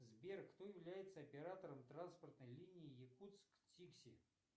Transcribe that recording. сбер кто является оператором транспортной линии якутск тикси